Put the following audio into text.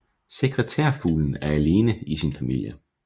Sekretærfuglen er alene i sin familie